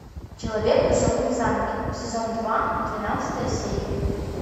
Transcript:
человек в высоком замке сезон два двенадцатая серия